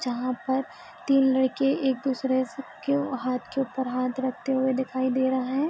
जहाँ पर तीन लड़के एक दूसरे से के हाथ के ऊपर हाथ रखते हुए दिखाई दे रहा है |